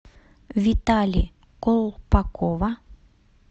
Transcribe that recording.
витали колпакова